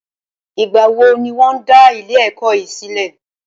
Ìgbà wo ní wọ́n dá ilé ẹ̀kọ́ yìí sílẹ̀?